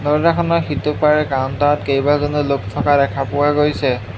দৰ্জাখনৰ সিটোপাৰে কাউণ্টাৰত কেইবাজনো লোক থকা দেখা পোৱা গৈছে।